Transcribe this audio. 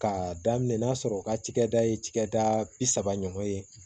K'a daminɛ n'a sɔrɔ u ka cɛkɛda ye cɛkɛda bi saba ɲɔgɔn ye